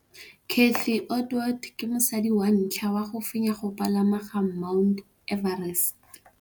Cathy Odowd ke mosadi wa ntlha wa go fenya go pagama ga Mt Everest.